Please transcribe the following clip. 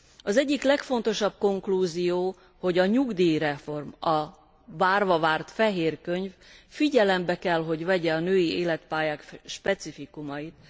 Az egyik legfontosabb konklúzió, hogy a nyugdíjreform, a várva várt fehér könyv figyelembe kell, hogy vegye a női életpályák specifikumait.